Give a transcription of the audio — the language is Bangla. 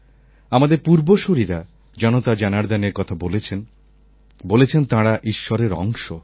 আমাদের পূর্বসূরীরা জনতাজনার্দনের কথা বলেছেন বলেছেন তাঁরা ঈশ্বরের অংশ